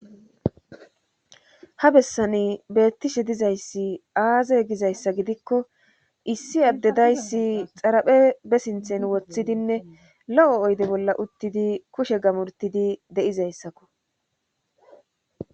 Ha bessani beettishe dizayssi aaze gizayssa gidikko issi addedayssi xaraphe be sinthen woththidinne lo7o oyde bolla uttidi kushe gamurtidi de7izayssakko